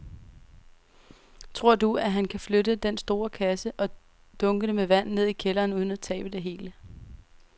Tror du, at han kan flytte den store kasse og dunkene med vand ned i kælderen uden at tabe det hele?